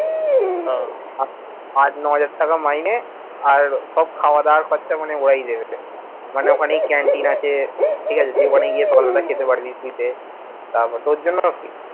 আট, ন হাজার টাকা মাইনে আর সব খাওয়া দাওয়ার খরচা মানে ওরাই দেবে। মানে ওখানেই canteen আছে ঠিকাছে তুই ওখানে গিয়ে সকালবেলা খেতে পারবি free তে, তারপর তোর জন্য সব free